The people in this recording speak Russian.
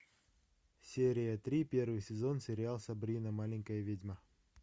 серия три первый сезон сериал сабрина маленькая ведьма